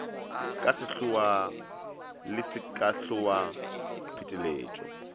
ka sehloa le sekasehloa pheteletšo